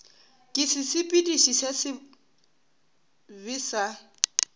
ke sesepediši se sebe sa